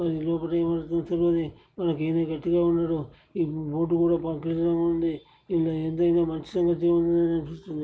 లోపట ఏమైతుందో తెలువది మనకైతే గట్టిగా ఉన్నాడు ఈ బోర్డు కూడా ఉంది. అనిపిస్తుంది.